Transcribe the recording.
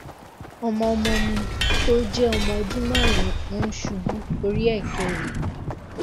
ọmọ ọmọ mi tó jẹ ọmọ ọdún márùn ún ṣubú ori eke rẹ